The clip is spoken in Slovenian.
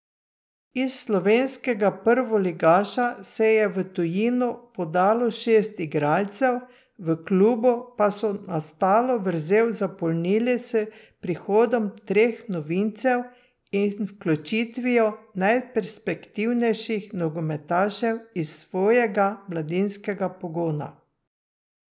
Iz slovenskega prvoligaša se je v tujino podalo šest igralcev, v klubu pa so nastalo vrzel zapolnili s prihodom treh novincev in vključitvijo najperspektivnejših nogometašev iz svojega mladinskega pogona.